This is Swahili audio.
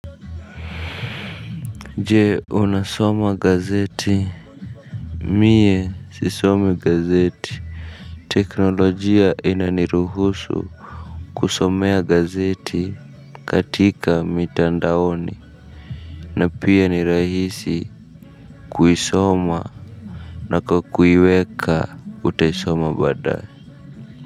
Je unasoma gazeti. Mie sisomi gazeti. Teknolojia inaniruhusu kusomea gazeti katika mitandaoni. Na pia ni rahisi Kuisoma. Na kwa kuiweka utaisoma badaye.